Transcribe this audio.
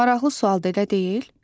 Maraqlı sualdır elə deyil?